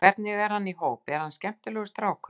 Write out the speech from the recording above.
Hvernig er hann í hóp, er þetta skemmtilegur strákur?